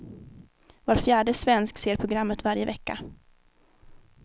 Var fjärde svensk ser programmet varje vecka.